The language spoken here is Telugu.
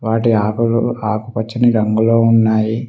వాటి ఆకులు ఆకుపచ్చని రంగులో ఉన్నాయి.